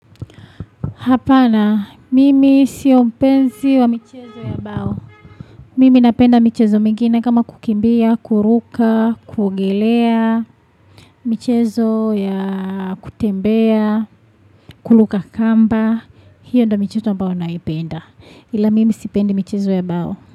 Hapana, mimi siyompenzi wa michezo ya bao. Mimi napenda michezo mingine kama kukimbia, kuruka, kuogelea, michezo ya kutembea, kuluka kamba. Hiyo ndio michezo ambayo naipenda. Ila mimi sipendi michezo ya bao.